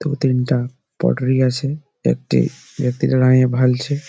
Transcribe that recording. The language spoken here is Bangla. দু তিনটা আছে। একটি ব্যাক্তি দাঁড়িয়ে ভালছে--